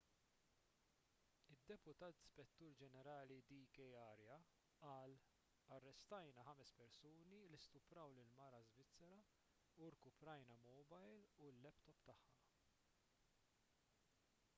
id-deputat spettur ġenerali d k arya qal arrestajna ħames persuni li stupraw lill-mara svizzera u rkuprajna l-mowbajl u l-laptop tagħha